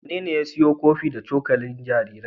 Wanene ya siyo kofi da cokalin jaririn?